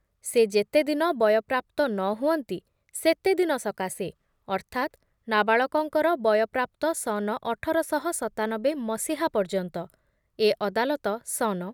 ସେ ଯେତେଦିନ ବୟପ୍ରାପ୍ତ ନ ହୁଅନ୍ତି ସେତେଦିନ ସକାଶେ, ଅର୍ଥାତ୍ ନାବାଳକଙ୍କର ବୟପ୍ରାପ୍ତ ସନ ଅଠର ଶହ ସତାନବେ ମସିହା ପର୍ଯ୍ୟନ୍ତ, ଏ ଅଦାଲତ ସନ